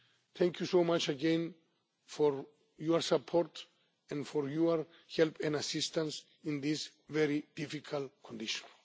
better. Thank you very much again for your support and for your help and assistance in these very difficult conditions.